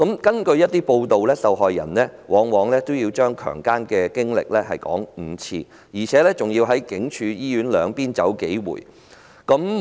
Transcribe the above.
根據一些報道，受害人往往須複述被強姦的經歷5遍，而且還要在警署與醫院兩邊來回數遍。